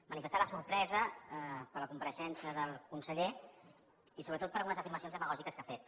manifestar la sorpresa per la compareixença del conseller i sobretot per algunes afirmacions demagògiques que ha fet